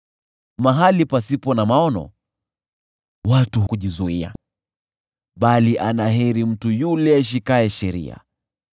Mahali pasipo na ufunuo, watu kujizuia, bali ana heri mtu yule aishikaye sheria.